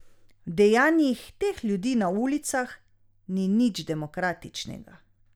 V dejanjih teh ljudi na ulicah ni nič demokratičnega.